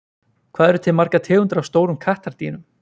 hvað eru til margar tegundir af stórum kattardýrum